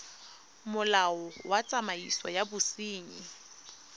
molao wa tsamaiso ya bosenyi